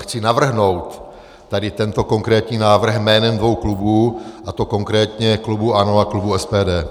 Chci navrhnout tady tento konkrétní návrh jménem dvou klubů, a to konkrétně klubu ANO a klubu SPD.